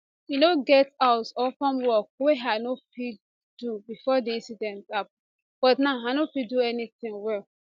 e no get house or farm work wey i no fit do bifor di incident happun but now i no fit do anything well